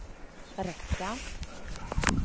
räcka